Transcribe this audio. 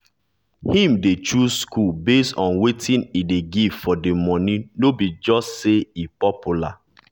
him dey choose school based on wetin e dey give for the money no be just say e popular.